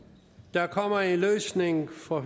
der kommer en løsning for